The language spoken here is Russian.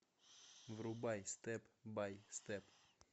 врубай степ бай степ